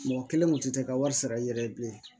Mɔgɔ kelen kun tɛ ka wari sara i yɛrɛ ye bilen